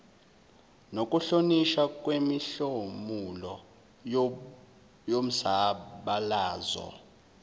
nokuhlonishwa kwemihlomulo yomzabalazo